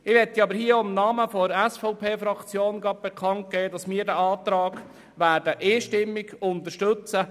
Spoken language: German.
Ich möchte im Namen der SVP-Fraktion bekannt geben, dass wir den Antrag einstimmig unterstützen.